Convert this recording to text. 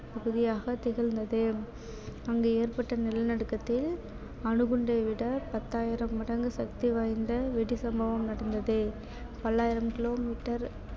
பகுதியாக திகழ்ந்தது அங்கு ஏற்பட்ட நிலநடுக்கத்தில் அணுகுண்டை விட பத்தாயிரம் மடங்கு சக்தி வாய்ந்த வெடி சம்பவம் நடந்தது பல்லாயிரம் kilometer